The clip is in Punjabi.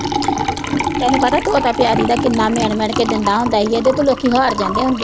ਤੈਨੂੰ ਪਤਾ ਤੋਤਾ ਤਿਆਰੀ ਦਾ ਕਿੰਨਾ ਮਿਣ-ਮਿਣ ਕੇ ਦਿੰਦਾ ਹੁੰਦਾ ਸੀ, ਉਹਦੇ ਤੋਂ ਲੋਕੀਂ ਹਾਰ ਜਾਂਦੇ ਹੁੰਦੇ ਸੀ।